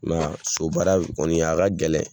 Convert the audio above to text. I m'a ye a, so baara kɔni a ka gɛlɛn